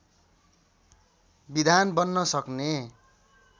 विधान बन्न सक्ने